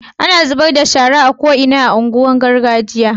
ana zubar da shara a ko'ina a unguwan nin gargajiya